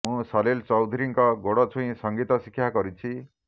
ମୁଁ ସଲିଲ ଚୌଧୁରୀଙ୍କ ଗୋଡ଼ ଛୁଇଁ ସଙ୍ଗୀତ ଶିକ୍ଷା କରିଛି